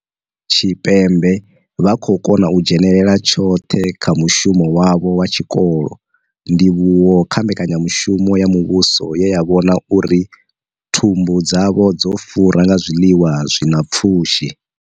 Tshipembe vha khou kona u dzhenela tshoṱhe kha mushumo wavho wa tshikolo, ndivhuwo kha mbekanyamushumo ya muvhuso ye ya vhona uri thumbu dzavho dzo fura nga zwiḽiwa zwi na pfushi.